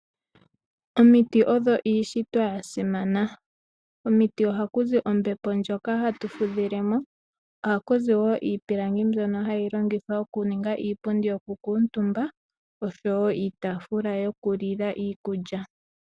Omiti odho iishitwa ya simana. Komiti ohaku zi ombepo ndjoka hatu fudhilemo. Ohaku zi wo iipilangi mbyono hayi longithwa okuninga iipundi yokukuutumba oshowo iitafula yokulila iikulya.